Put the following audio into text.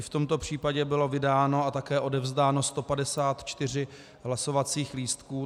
I v tomto případě bylo vydáno a také odevzdáno 154 hlasovacích lístků.